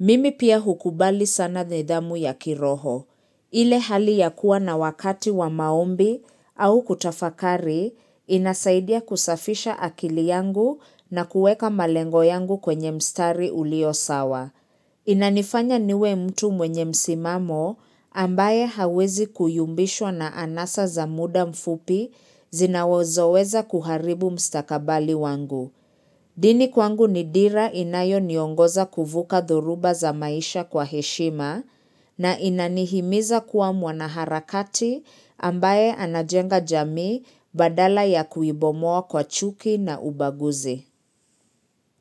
Mimi pia hukubali sana nidhamu ya kiroho. Ile hali ya kuwa na wakati wa maombi au kutafakari inasaidia kusafisha akili yangu na kueka malengo yangu kwenye mstari ulio sawa. Inanifanya niwe mtu mwenye msimamo ambaye hawezi kuyumbishwa na anasa za muda mfupi zinazoweza kuharibu mstakabali wangu. Dini kwangu ni dira inayoniongoza kuvuka thoruba za maisha kwa heshima na inanihimiza kuwa mwanaharakati ambaye anajenga jamii badala ya kuibomoa kwa chuki na ubaguzi.